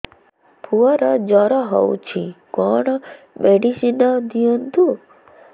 ପୁଅର ଜର ହଉଛି କଣ ମେଡିସିନ ଦିଅନ୍ତୁ